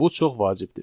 Bu çox vacibdir.